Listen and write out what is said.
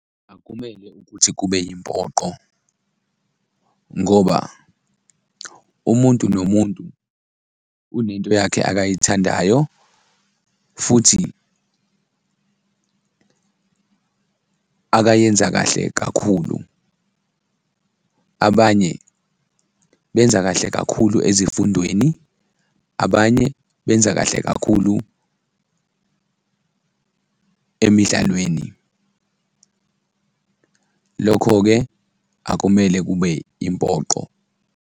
Akumele ukuthi kube yimpoqo ngoba umuntu nomuntu unento yakhe akayithandayo futhi akayenza kahle kakhulu. Abanye benza kahle kakhulu ezifundweni, abanye benza kahle kakhulu emidlalweni, lokho-ke akumele kube impoqo.